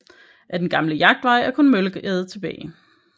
Af den gamle Jagtvej er kun Møllegade tilbage